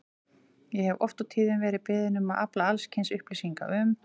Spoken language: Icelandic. Ég hef oft og tíðum verið beðinn um að afla alls kyns upplýsinga um